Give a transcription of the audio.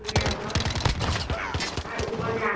ৰং বিৰংৰ আৰু ওপৰত যে আঙঠি